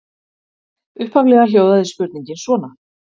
Upphaflega hljóðaði spurningin svona: